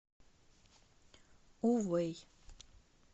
увэй